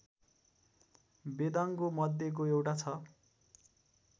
वेदांगों मध्येको एउटा छ